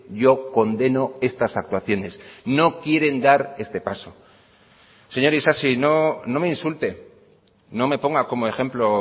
yo condeno estas actuaciones no quieren dar este paso señor isasi no me insulte no me ponga como ejemplo